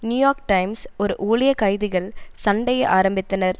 New York Times ஒரு ஊழியர் கைதிகள் சண்டையை ஆரம்பித்தனர்